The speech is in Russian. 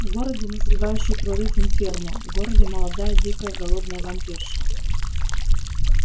в городе назревающий прорыв инферно в городе молодая дикая голодная вампирша